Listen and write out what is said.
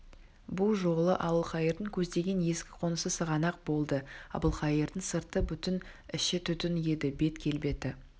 бұ жолы әбілқайырдың көздеген ескі қонысы сығанақ болды әбілқайырдың сырты бүтін іші түтін еді бет келбеті